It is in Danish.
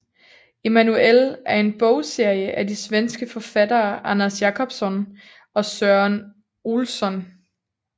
Emanuel er en bogserie af de svenske forfattere Anders Jacobsson og Sören Olsson